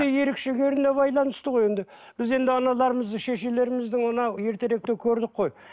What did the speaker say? ерекшелеріне байланысты ғой енді біз енді аналарымызды шешелерімізді мынау ертеректе көрдік қой